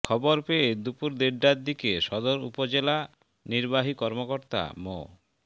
খবর পেয়ে দুপুর দেড়টার দিকে সদর উপজেলা নির্বাহী কর্মকর্তা মো